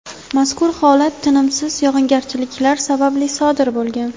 Mazkur holat tinimsiz yog‘ingarchiliklar sababli sodir bo‘lgan.